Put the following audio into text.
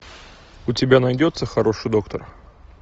у тебя найдется хороший доктор